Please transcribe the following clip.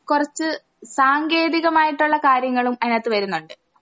കൊറച്ച് സാങ്കേതികമായിട്ടൊള്ള കാര്യങ്ങളും അയിനാത്ത് വരുന്നൊണ്ട്.